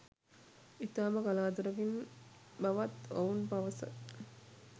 ඉතාම කලාතුරකින් බව‍ත් ඔවුන් පවස